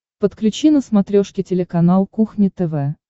подключи на смотрешке телеканал кухня тв